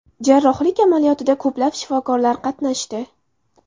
Jarrohlik amaliyotida ko‘plab shifokorlar qatnashdi.